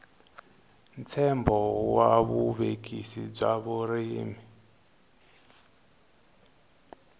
ntshembo wa vuvekisi bya vurimi